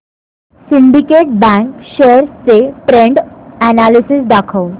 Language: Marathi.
सिंडीकेट बँक शेअर्स चे ट्रेंड अनॅलिसिस दाखव